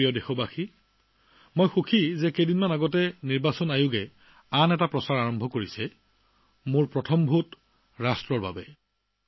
মোৰ প্ৰিয় দেশবাসী মই সুখী যে কিছুদিন পূৰ্বে নিৰ্বাচন আয়োগে আন এক অভিযান আৰম্ভ কৰিছেমোৰ প্ৰথম ভোটদেশৰ বাবে